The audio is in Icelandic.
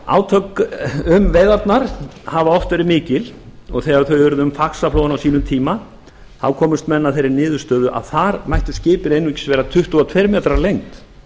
átök um veiðarnar hafa oft verið mikil og þegar þau urðu um faxaflóann á sínum tíma þá komust menn að þeirri niðurstöðu að þar mætti skipið einungis vera tuttugu og tveir metrar á lengd